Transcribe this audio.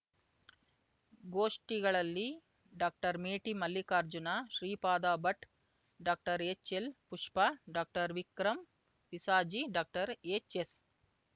ಗೋಷ್ಠಿಗಳಲ್ಲಿ doctor Meti Mallikarjuna Shripada Bhat doctor H L Pushpa doctor Vikram Visaji doctor H S